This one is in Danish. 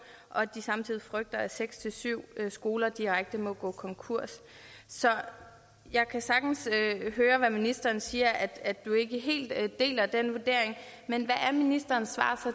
og samtidig frygter de at seks syv skoler direkte må gå konkurs jeg kan sagtens høre hvad ministeren siger at du ikke helt deler den vurdering men hvad er ministerens svar